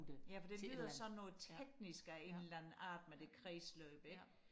ja for det lyder sådan noget teknisk af en eller anden art med det kredsløb ikke